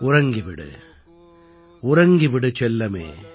உறங்கி விடு உறங்கி விடு செல்லமே